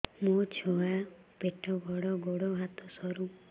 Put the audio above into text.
ମୋ ଛୁଆ ପେଟ ବଡ଼ ଗୋଡ଼ ହାତ ସରୁ